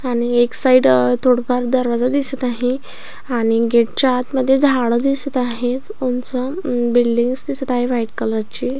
आणि एक साईड अ थोडफार दरवाजा दिसत आहे आणि गेट च्या आतमध्ये झाड दिसत आहेत उंच बिल्डींग्स दिसत आहे व्हाईट कलर ची.